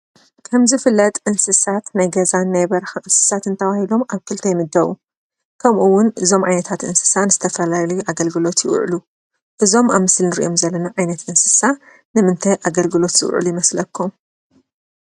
ከም ዝፍለጥ እንስሳት ናይ ገዛን ናይ በረካን እንስሳትን ተባሂሎም ኣብ ክልተ ይምለደቡ፡፡ ከምኡ እውን ዝተፈላለዩ እንስሳትን ኣገልግሎት ይውዕሉ፡፡ እዞም ኣብ ምስሊ እንሪኦም ዘለና ዓይነት እንስሳ ንምንታይ ኣገልግሎት ዝውዕሉ ይመስለኩ?